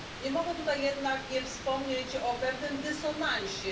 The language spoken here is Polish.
Nie mogę tutaj jednak nie wspomnieć o pewnym dysonansie.